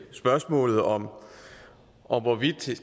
spørgsmålet om om hvorvidt